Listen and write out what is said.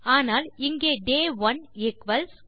ஆனால் இங்கே day 1 equals